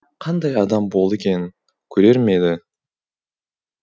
қандай адам болды екен көрер ме еді